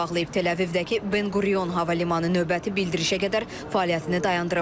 Tel-Əvivdəki Ben Qurion hava limanı növbəti bildirişə qədər fəaliyyətini dayandırıb.